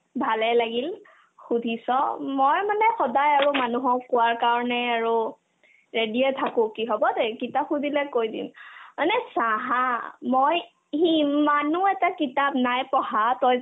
ভালে লাগিল সুধিছ মই মানে সদাই আৰু মানুহক কোৱাৰ কাৰণে আৰু ready য়ে থাকো কি হ'ব এ কিতাপ সুধিলে কই দিম মানে চা haa মই সিমানো এটা কিতাপ নাই পঢ়া তই